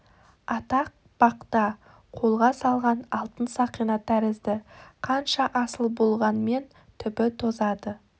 атақ бақ та қолға салған алтын сақина тәрізді қанша асыл болғанмен түбі тозады